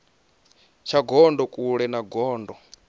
tsha gondo kule na gondo